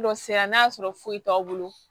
Dɔ sera n'a y'a sɔrɔ foyi t'aw bolo